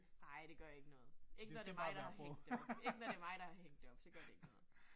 Nej, det gør ikke noget. Ikke når det mig, der har hængt det op, ikke når det er mig, der har hængt det op, så gør det ikke noget